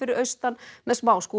austan með